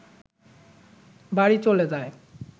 বাড়ি চলে যায়